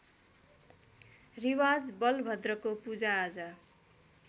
रिवाज बलभद्रको पूजाआजा